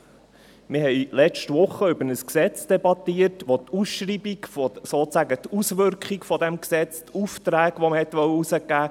Wir haben letzte Woche über ein Gesetz debattiert, das die Ausschreibung, sozusagen die Auswirkung dieses Gesetzes, die Aufträge, welche man erteilen wollte ...